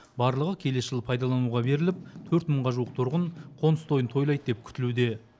барлығы келесі жылы пайдалануға беріліп төрт мыңға жуық тұрғын қоныс тойын тойлайды деп күтілуде